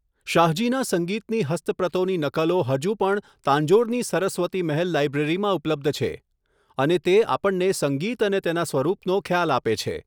શાહજીનાં સંગીતની હસ્તપ્રતોની નકલો હજુ પણ તાંજોરની સરસ્વતી મહેલ લાઇબ્રેરીમાં ઉપલબ્ધ છે અને તે આપણને સંગીત અને તેના સ્વરૂપનો ખ્યાલ આપે છે.